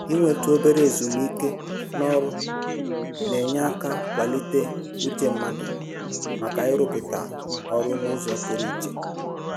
Inwetụ obere ezumike n'ọrụ na-enye aka kwalite uche mmadụ maka ịrụpụta ọrụ n'ụzọ pụrụ iche